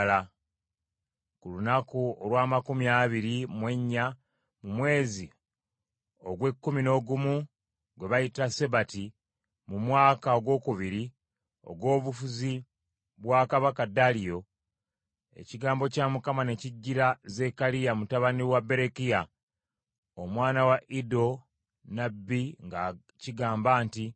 Ku lunaku olw’amakumi abiri mu ennya, mu mwezi ogw’ekkumi n’ogumu gwe bayita Sebati, mu mwaka ogwokubiri ogw’obufuzi bwa kabaka Daliyo, ekigambo kya Mukama ne kijjira Zekkaliya mutabani wa Berekiya, omwana wa Iddo nnabbi nga kigamba nti.